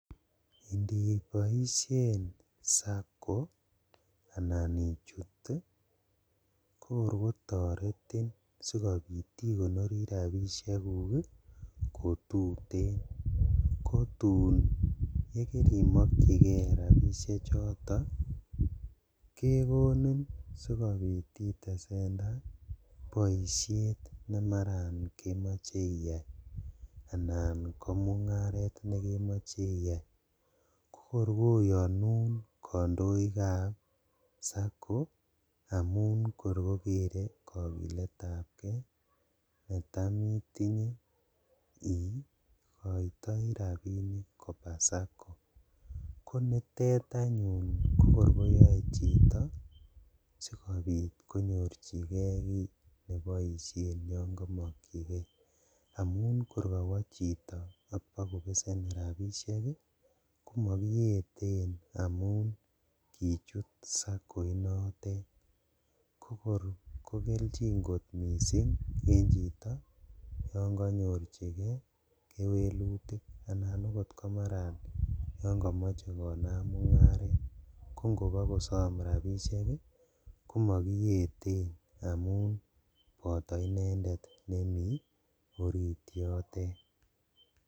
Indiboishen SACCO, anan ichutu kokor kotoretin sikobikt ikonori rabishekuk kotuten kotun kerimokyigee rabishechoto kekoni sikobit itesendaa boishet nemaran kemoche anan komungaret nekemoche iyai kokor koyonun kondoikab SACCO amun kor kokere kokiletab kee netam itinye ikotoi rabinik koba SACCO kokor koyoe chito konyorjigee ki neboishen yongomokyigee amun kor kowo chito ok bokobesen rabishek ii komokiyeten amun kichut SACCO inotete kokor kogeljin kot missing' en chito yon konyorjigee kewelutik, anan oot komaran yon komoche konam mungaret kongobokosom rabishek ii komokiyeten amun boto inendet nemi orit yote.